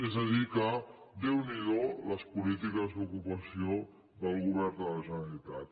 és a dir que déu n’hi do les polítiques d’ocupació del govern de la generalitat